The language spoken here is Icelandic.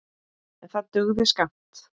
En það dugði skammt.